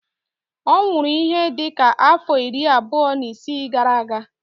Ọ nwụrụ ihe dị ka afọ iri abụọ na isii gara-aga.